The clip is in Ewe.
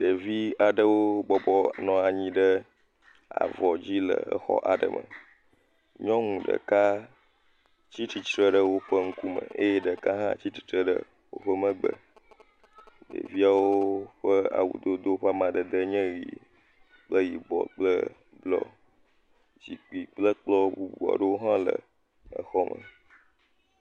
Ɖevi aɖewo bɔbɔnɔ anyi ɖe avɔ dzi le exɔ aɖe me, nyɔŋu ɖeka tsitsitre ɖe woƒe ŋukume, eye ɖeka hã tsitsitre ɖe woƒe megbe, ɖeviawo ƒe awu dodo ƒe amadede nye ɣie kple yibɔ kple blɔ, zikpui kple kplɔ̃ bubua ɖowo hã le exɔ me.